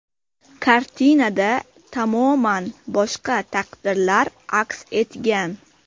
Kartinada tamoman boshqa taqdirlar aks etgan.